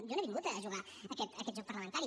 jo no he vingut a jugar aquest joc parlamentari